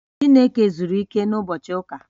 Chineke zuru ike na ụbochị ụka